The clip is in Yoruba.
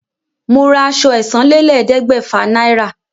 Mo ra àṣọ ẹ̀sánlélẹ́ẹ̀ẹ́dẹ́gbẹ́fà naira